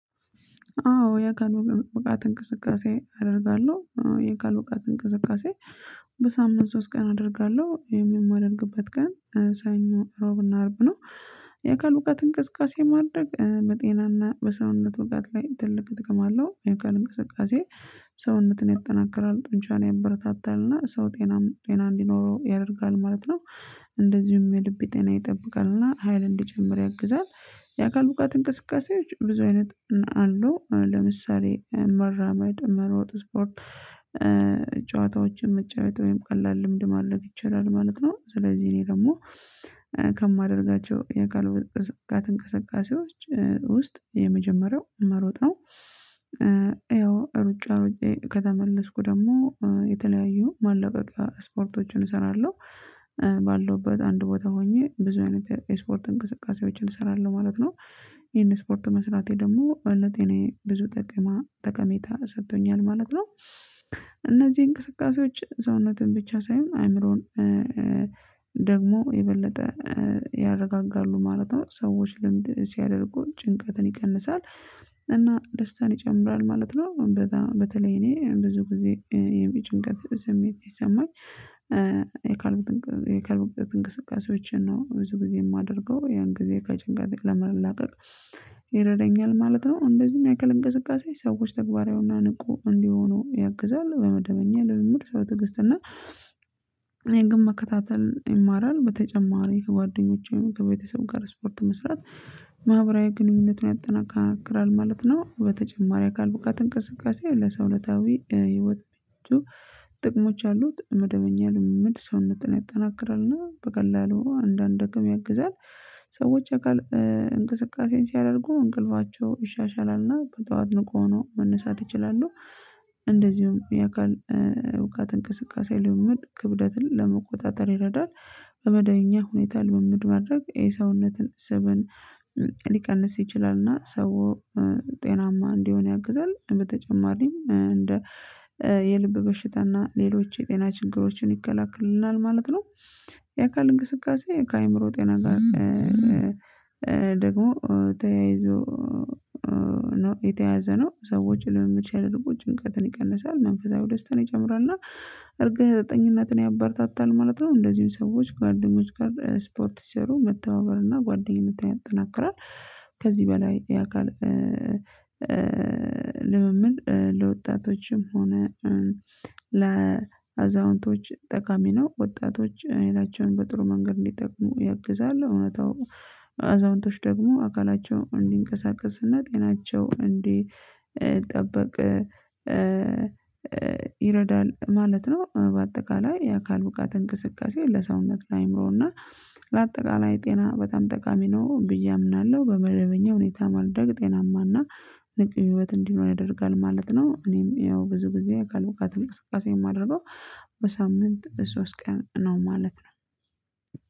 አዎ የአካል ብቃት እንቅስቃሴ አደርጋለሁ የአካል ብቃት እንቅስቃሴ በሳምንት ሶስት ቀን አደርጋለሁ ይህንም የማደርግበት ቀን ሰኞ ሮብና አርብ ነው። የአካል ብቃት እንቅሳቃሴ ማድረግ በጤናና በሰውነት ብቃት ላይ ትልቅ ጥቅም አለው የአካል እንቅስቃሴ። ሰውነትን ያጠናከራል ጡንቻን ያበረታታልና ሰው ጤናም ጤና እንዲኖረው ያደርጋል ማለት ነው። እንደዚሁም የልብ ጤና ይጠብቃልና ሀይል እንዲጨምር ያግዛል። የአካል ብቃት እንቅስቃሴዎች ብዙ አይነት አሉ ለምሳሌ መራመድ መሮጥ ስፕርት ጨዋታዎችን መጫወት ወይም ቀላል ልምድ ማድረግ ይቻላል ማለት ነው። ስለዚህ እኔ ደግሞ ከማደርጋቸው የአካል ብቃት እንቅስቃሴዎች ውስጥ የመጀመሪያው መሮጥ ነው። ያው ሩጫ ሩጬ ከተመለስኩ ደግሞ የተለያዩ ማለቀቂያ ስፖርቶችን እሰራለሁ። ባለሁበት አንድ ቦታ ሆኜ ብዙ አይነት የስፖርት እንቅስቃሴዎችን እሰራለሁ ማለት ነው። ይሄን ስፖርት መስራቴ ደግሞ ለጤናየ ብዙ ጠቀማ ጠቀሜታ ሰጥቶኛል ማለት ነው። እነዚህ እንቅስቃሴዎች ሰውነትን ብቻ ሳይሆን አአምሮን ደግሞ የበለጠ ያረጋጋሉ ማለት ነው። ሰዎች ልምድ ሲያደርጉ ጭንቀትን ይቀንሳል እና ደስታን ይጨምራል ማለት ነው። በጣም በተለይ እኔ ብዙ ጊዜ የመጭንቀት ስሜት ሲሰማኝ የአካል የአካል ብቃት እንቅስቃሴዎችን ነው ብዙ ጊዜ የማደርገው ያን ጊዜ ከጭንቀት ለመላቀቅ ይረዳኛል ማለት ነው። እንደዚሁም ያአካል እንቅስቃሴ ሰዎች ተግባራዊና ንቁ እንዲሆኑ ያግዛል። በመደበኛ ልምምድ ሰው ትግስት እና ግን መከታተል ይማራል። በተጨማሪ ከጓደኞቼ ከቤተሰብ ጋር ስፖርት መስራት ማህበራዊ ግንኙነትን ያጠናክራል ማለት ነው። በተጨማሪ አካል ብቃት እንቅስቃሴ ለሰውነታዊ ህይወታቸው ጥቅሞች አሉት መደመኛ ልምምድ ሰውነትን ያጠናክራልና በቀላሉ አንዳንድ ደግሞ ያግዛል። ሰዎች የአካል እንቅስቃሴን ሲያደርጉ እንቅልፋቸው ይሻሻላልና በጠዋት ንቁ ሆኖ መነሳት ይችላለሁ። እንደዚሁም የአካል እውቀት እንቅስቃሴ ልምምድ ክብደትን ለመቆጣጠር ይረዳል። በመደብኛ ሁኔታ ልምምድ ማድረግ የሰውነትን ስብን ሊቀንስ ይችላል እና ሰው ጤናማ እንዲሆን ያግዛል። በተጨማሪም እንደ የልብ በሽታ እና ሌሎች የጤና ችግሮችን ይከላከልናል ማለት ነው። የአካል እንቅስቃሴ ከአእምሮ ጤና ጋር ደግሞ ተያይዞ ነው የተያያዘ ነው። ሰዎች ልምምድ ሲያደርጉ ጭንቀትን ይቀንሳል መንፈሳዊ ደስታን ይጨምራል እና እርግጠኝነትን ያበረታታል ማለት ነው። እንደዚሁም ሰዎች ጓደኞች ጋር ስፖርት ሲሰሩ መተባበር እና ጓደኝነት ያጠናክራል። ከዚህ በላይ ያካል ልምምድ ለወጣቶችም ሆነ ለአዛውንቶች ጠቃሚ ነው። ወጣቶች አይናቸውን በጥሩ መንገድ እንዲጠቅሙ ያግዛል እውነታው አዛውንቶች ደግሞ አካላቸውን እንዲንቀሳቀስና ጤናቸው እንዲጠበቅ ይረዳል ማለት ነው። በአጠቃላይ የአካል ብቃት እንቅስቃሴ ለሰውነት ለአእምሮና ለአጠቃላይ ጤና በጣም ጠቃሚ ነው ብዬ አምናለሁ። በመደበኛ ሁኔታ ማድረግ ጤናማና ንቁ ህይወት እንዲኖር ያደርጋል ማለት ነው። እኔም ይኸው ብዙ ጊዜ አካል ብቃት እንቅስቃሴ የማደርገው በሳምንት ሶስት ቀን ነው ማለት ነው።